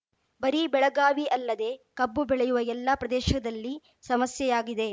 ಬರೀ ಬೆಳಗಾವಿ ಅಲ್ಲದೇ ಕಬ್ಬು ಬೆಳೆಯುವ ಎಲ್ಲ ಪ್ರದೇಶದಲ್ಲಿ ಸಮಸ್ಯೆಯಾಗಿದೆ